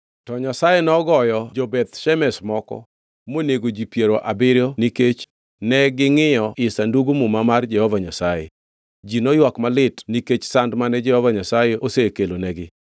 To Nyasaye nogoyo jo-Beth Shemesh moko, monego ji piero abiriyo nikech negingʼiyo ii Sandug Muma mar Jehova Nyasaye. Ji noywak malit nikech sand mane Jehova Nyasaye osekelonegi,